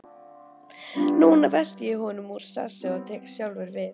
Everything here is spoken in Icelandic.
Núna velti ég honum úr sessi og tek sjálfur við.